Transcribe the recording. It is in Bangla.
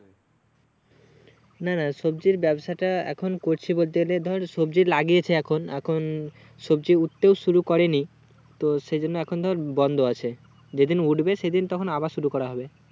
না না সবজির ব্যবসাটা এখন করছি বলতে গেলে ধর সবজি লাগিয়েছি এখন এখন সবজি উঠতে শুরু করেনি তো সেই জন্য এখন ধর বন্দ আছে যেদিন উঠবে সেদিন তখন আবার শুরু করা হবে